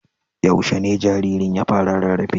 Yaushe ne jaririn ya fara rarrafe?